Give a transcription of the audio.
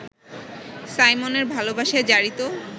সাইমনের ভালোবাসায় জারিত